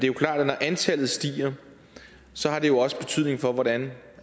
jo klart at når antallet stiger har det også betydning for hvordan